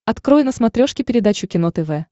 открой на смотрешке передачу кино тв